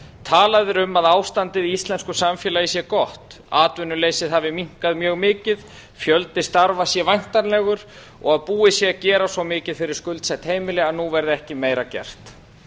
talað er um að ástandið í íslensku samfélagi sé gott atvinnuleysið hafi minnkað mjög mikið fjöldi starfa sé væntanlegur og búið sé að gera svo mikið fyrir skuldsett heimili að nú verði ekki meira gert